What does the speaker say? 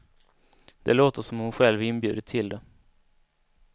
Det låter som om hon själv inbjudit till det.